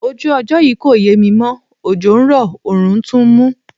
Ojú ọjọ́ yí kò yẹ mi mọ́, òjò ń rọ̀, òórùn tún ń mú.